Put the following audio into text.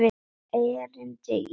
Einnig erindi í útvarp.